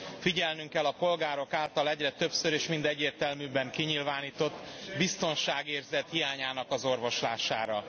Figyelnünk kell a polgárok által egyre többször és mind egyértelműbben kinyilvánított biztonságérzet hiányának az orvoslására.